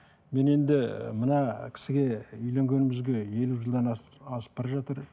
мен енді мына кісіге үйленгенімізге елу жылдан асып бара жатыр